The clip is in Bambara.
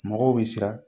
Mɔgɔw bɛ siran